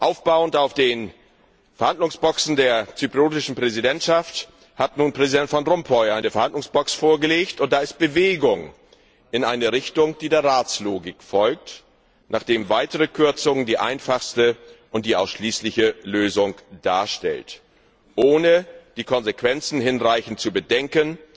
Aufbauend auf den Verhandlungsboxen der zyprischen Präsidentschaft hat nun Präsident Van Rompuy eine Verhandlungsbox vorgelegt, und da ist Bewegung in eine Richtung, die der Ratslogik folgt, nach der weitere Kürzungen die einfachste und die ausschließliche Lösung darstellen ohne die Konsequenzen hinreichend zu bedenken